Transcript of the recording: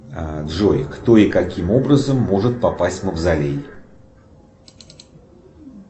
джой кто и каким образом может попасть в мавзолей